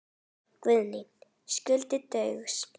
Guðný: Skuldir Baugs?